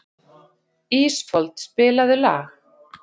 Ísfold, spilaðu lag.